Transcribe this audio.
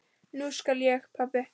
Núna skil ég, pabbi.